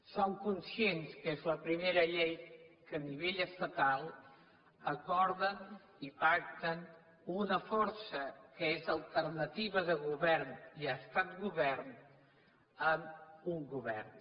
som conscients que és la primera llei que a nivell estatal acorden i pacten una força que és alternativa de govern i ha estat govern amb un govern